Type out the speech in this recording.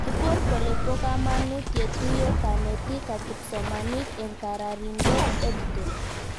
Kiipor kole po kamanut ye tuyo kanetik ak kipsomanik eng' kararindop EdTech